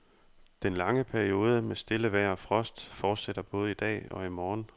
Den lange periode med stille vejr og frost fortsætter både i dag og i morgen.